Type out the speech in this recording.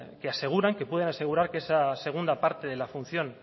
que aseguran que pueden asegurar que esa segunda parte de la función